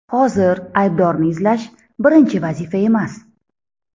Hozir aybdorni izlash – birinchi vazifa emas.